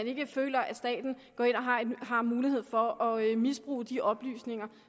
ikke føler at staten har mulighed for at at misbruge de oplysninger